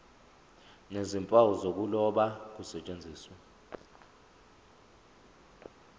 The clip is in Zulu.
nezimpawu zokuloba kusetshenziswe